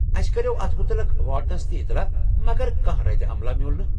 اسہِ کرییٛو اتھ مٗتعلق وارڈنس تہِ اطلاع مگر كانہہ رد عملاہ میوُل نہٕ ۔